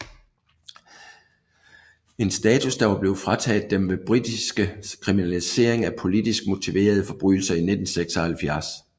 En status der var blevet frataget dem ved den britiske kriminalisering af politisk motiverede forbrydelser i 1976